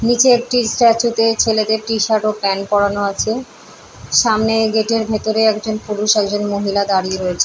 নিচে একটি স্ট্যাচু - তে ছেলেদের টি- শার্ট ও প্যান্ট পরানো আছে সামনে গেট - এর ভেতরে একজন পুরুষ একজন মহিলা দাঁড়িয়ে রয়েছে।